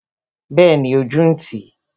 Bẹẹni, ojú ń tì i